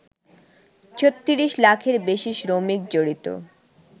৩৬ লাখের বেশি শ্রমিক জড়িত